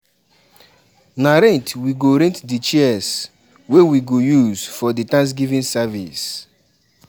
na rent we go rent the chairs wey we go use for di thanksgiving service